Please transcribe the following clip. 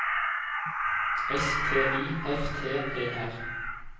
S T I F T E R